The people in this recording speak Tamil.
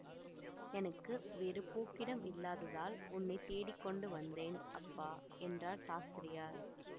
எனக்கு வேறு போக்கிடம் இல்லாததால் உன்னை தேடி கொண்டு வந்தேன் அப்பா என்றார் சாஸ்திரியார்